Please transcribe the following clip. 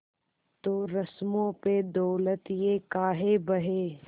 तो रस्मों पे दौलत ये काहे बहे